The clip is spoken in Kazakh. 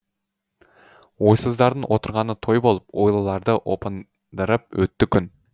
ойсыздардың отырғаны той болып ойлыларды опындырып өтті күн